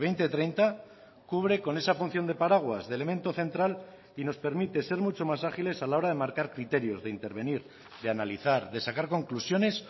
dos mil treinta cubre con esa función de paraguas de elemento central y nos permite ser mucho más agiles a la hora de marcar criterios de intervenir de analizar de sacar conclusiones